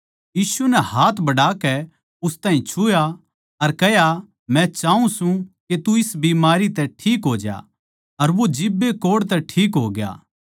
यीशु नै हाथ बढ़ाकै उस ताहीं छुआ अर कह्या मै चाऊँ सूं के तू इस बीमारी तै ठीक हो ज्या अर वो जिब्बे कोढ़ तै ठीक होग्या